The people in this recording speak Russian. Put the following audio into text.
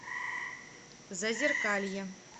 зазеркалье